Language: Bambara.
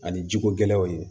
Ani jiko gɛlɛyaw ye